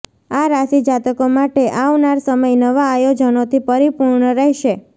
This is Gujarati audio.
આ રાશિજાતકો માટે આવનાર સમય નવા આયોજનો થી પરીપુર્ણ રહેશે